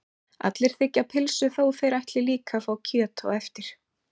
Allir þiggja pylsu þó að þeir ætli líka að fá kjöt á eftir.